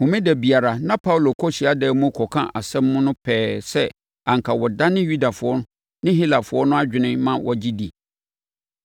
Homeda biara na Paulo kɔ hyiadan mu kɔka asɛm no pɛɛ sɛ anka ɔdane Yudafoɔ ne Helafoɔ no adwene ma wɔgye di.